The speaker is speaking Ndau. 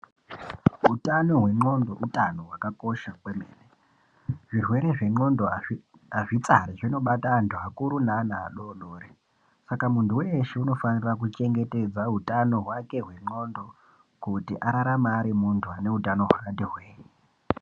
Utano hwe ndxondo hutano hwakakosha kwemene zvirwere zvendxondo hazvizvi tsari zvinobata antu vakuru nevana vadodori saka muntu weshe anofanirwa kuchengetedza hutano hwake hwe ndxondo kuti ararame ari muntu aneutano hwakati hwee.